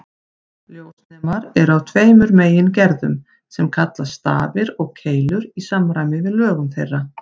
Ljósnemar eru af tveimur megingerðum sem kallast stafir og keilur í samræmi við lögun þeirra.